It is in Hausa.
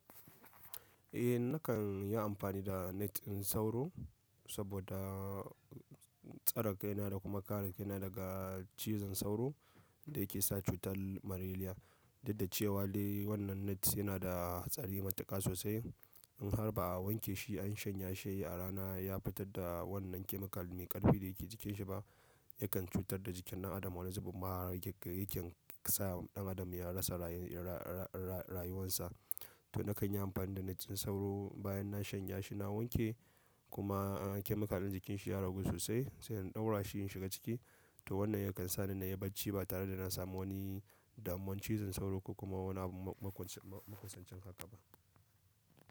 Eh nakan yi amfani da net sauro, saboda tsare kaina da kuma kare kaina daga cizon sauro, da yake sa cutan malaria. Duk dacewa dai wannan net yana da hatsari matuka sosai. In har ba a wanke shi an shanya shi a rana, ya fitar da wannan chemical me ƙarfi da yake jikinshi ba, yakan cutar da jikin ɗan adam wani zubin ma yake iya sa ɗan adam ya rasa rayuwansa. To nakan yi amfani da net ɗin sauro bayan na shanya shi na wanke, kuma chemical ɗin jikinsa ya ragu sosai, sai in ɗaura shi in shiga ciki. To wannan yakan sa ni na yi barci ba tare da na samu wani damuwan cizon sauro ko kuma wani maƙonsancin haka ba.